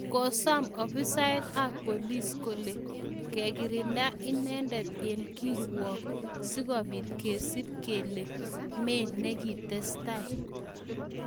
Kosam afisaek AP polis kole kekirnda inendet eng korikwok si kobiit kesub kele me negitestai.